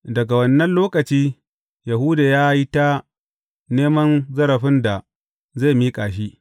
Daga wannan lokaci, Yahuda ya yi ta neman zarafin da zai miƙa shi.